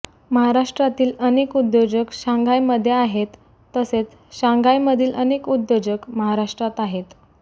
महाराष्ट्रातील अनेक उद्यो जक शांघायमध्ये आहेत तसेच शांघायमधील अनेक उद्योजक महाराष्ट्रात आहेत